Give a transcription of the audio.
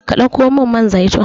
Ka ɗauko min man zaitun